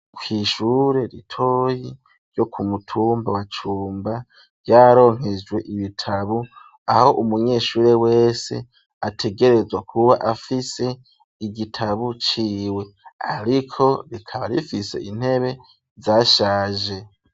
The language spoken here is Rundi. Kw' ishure ritoyi, ryo kumutumba wa cumba, vyaronkejwe ibitabu ,aho umunyeshuri wese, ategerezwa kuba afise igitabo ciwe, ariko rikaba rifise intebe zashaje.